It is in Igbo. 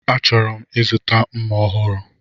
Achọrọ m ịzụta mma ọhụrụ.